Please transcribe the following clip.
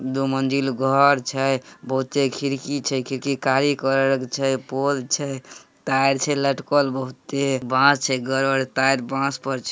दो मंजिल घर छे। बहुते खिड़की छे। खिड़की काली कलर के छे। पोल छे टायर छे लटकल बहुते। बास छे बड़ बड़ टायर बॉस पर छे।